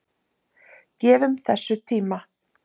Gefum þessu tíma.